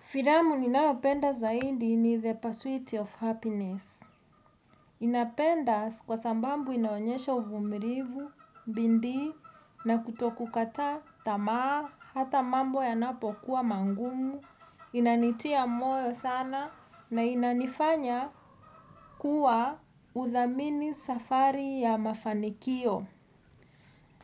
Filamu ninaopenda zaidi ni the pursuit of happiness. Ninapenda kwa sababu inaonyesha uvumilivu, bidii, na kutokukata tamaa, hata mambo yanapo kuwa magumu, inanitia moyo sana, na inanifanya kuwa udhamini safari ya mafanikio.